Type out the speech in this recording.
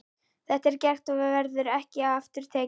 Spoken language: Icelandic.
Þetta er gert og verður ekki aftur tekið.